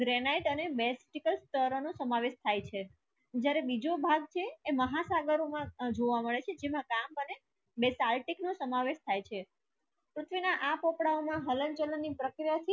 Granite અને basaltic તર નો સમાવેશ થાય છે જ્યારે વિજો ભાગ છે એ માહાસાગરો માં જોવા મડે છે જેમાં કામ બને basaltic નો સમાવેશ થાય છે પૃથ્વી માં આ પોપડાઓ માં હલન ચલણ ની પ્રક્રિયા ભુ ભૂકંપ